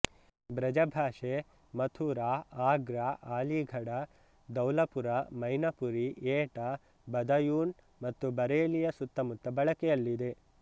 ಬ್ರಜಭಾಷೆ ಮಥುರಾ ಆಗ್ರಾ ಅಲೀಗಢ ಧೌಲಪುರ ಮೈನಪುರಿ ಏಟಾ ಬದಾಯೂನ್ ಮತ್ತು ಬರೇಲಿಯ ಸುತ್ತಮುತ್ತ ಬಳಕೆಯಲ್ಲಿದೆ